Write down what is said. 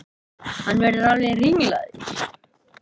Hann verður alveg ringlaður.